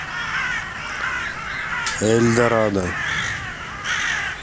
эльдорадо